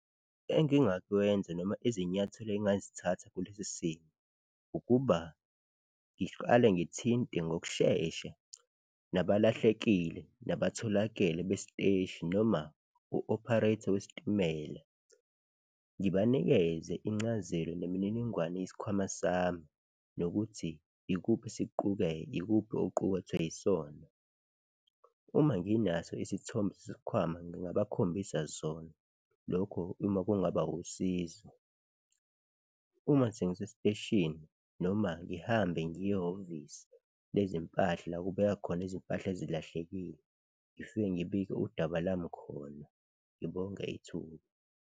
Engingakwenza noma izinyathelo engingazithatha kulesi simo ukuba ngiqale ngithinte ngokushesha nabalahlekile nabatholakele besiteshi noma u-operate-a wesitimela, ngibanikeze incazelo nemininingwane yesikhwama sami nokuthi ikuphi oqukethwe yisona. Uma nginaso isithombe sesikhwama ngingabakhombisa sona lokho uma kungaba usizo, uma sengisesiteshini noma ngihambe ngiye ehhovisi lezimpahla, la kubekwa khona izimpahla ezilahlekile, ngifike ngibike udaba lami khona, ngibonge ithuba.